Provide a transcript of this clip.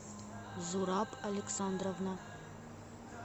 зураб александровна